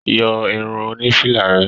Yọ irun oní fìlà rẹ.